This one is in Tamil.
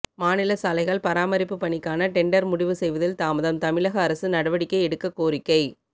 மாநில சாலைகள் பராமரிப்பு பணிக்கான டெண்டர் முடிவு செய்வதில் தாமதம் தமிழக அரசு நடவடிக்கை எடுக்க கோரிக்கை